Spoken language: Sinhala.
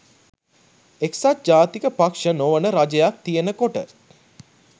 එක්සත් ජාතික පක්ෂ නොවන රජයක් තියෙනකොට